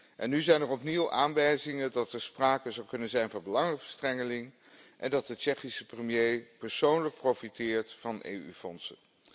En nu zijn er opnieuw aanwijzingen dat er sprake zou kunnen zijn van belangenverstrengeling en dat de Tsjechische premier persoonlijk profiteert van EU fondsen.